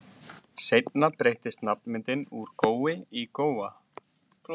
Seinna breyttist nafnmyndin úr Gói í Góa.